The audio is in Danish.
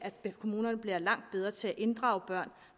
at kommunerne bliver langt bedre til at inddrage børn